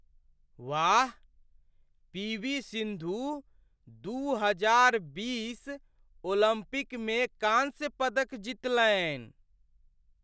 वाह, P. V. Sindhu दू हजार बीस ओलम्पिकमे कांस्य पदक जितलनि।